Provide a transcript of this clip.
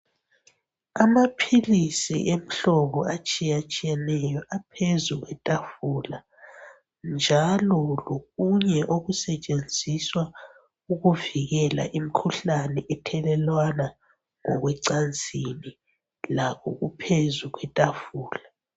Amapilisi emholobo etshiyatshiyeneyo aphezu kwetafula. Njalo lokunye okusetshenziswa ukuvikela imikhuhlane thelelwana ngikwencansini lakho kuphezu kwetafula.